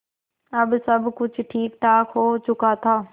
अब सब कुछ ठीकठाक हो चुका था